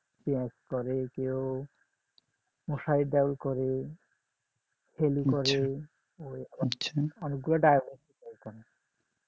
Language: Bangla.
পেঁয়াজ করে কেউ মুসারির ডাল করে হেলি করে ওই অনেকগুলা ডাল করে